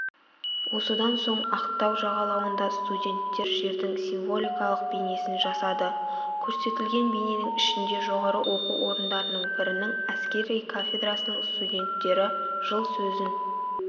осыдан соң ақтау жағалауында студенттер жердің символикалық бейнесін жасады көрсетілген бейненің ішінде жоғары оқу орындарының бірінің әскери кафедрасының студенттері жыл сөзін